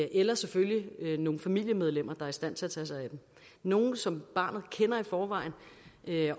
eller selvfølgelig nogle familiemedlemmer der er i stand til at tage sig af dem nogle som barnet kender i forvejen